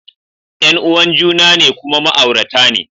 Yan uwan juna ne kuma ma'aurata ne